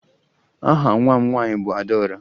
Aha nwa m nwaanyị bụ Adaọra